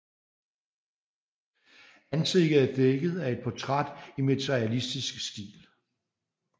Ansigtet er dækket af et portræt i materialistisk stil